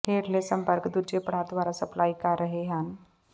ਹੇਠਲੇ ਸੰਪਰਕ ਦੂਜੇ ਪੜਾਅ ਦੁਆਰਾ ਸਪਲਾਈ ਕਰ ਰਹੇ ਹਨ